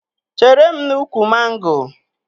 Chere m n'úkwù mango